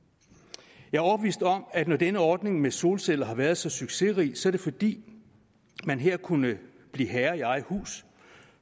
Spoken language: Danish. jeg er overbevist om at når denne ordning med solceller har været så succesrig så er det fordi man her kunne blive herre i eget hus